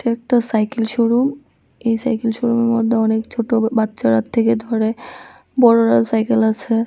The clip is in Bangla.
একটা সাইকেল শোরুম এই সাইকেল শোরুমের মধ্যে অনেক ছোট বাচ্চারা থেকে ধরে বড়রা সাইকেল আছে।